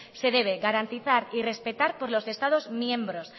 se debe garantizar y respetar por los estados miembros